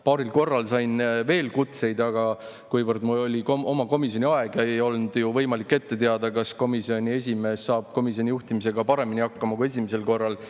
Paaril korral sain veel kutseid, aga siis oli mul oma komisjoni aeg ja ei olnud ju võimalik ette teada, kas komisjoni esimees saab juhtimisega paremini hakkama kui esimesel korral.